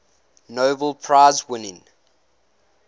nobel prize winning